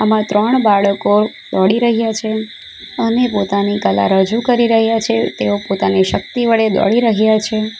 આમાં ત્રણ બાળકો દોડી રહ્યા છે અને પોતાની કળા રજૂ કરી રહ્યા છે તેઓ પોતાને શક્તિ વડે દોડી રહ્યા છે.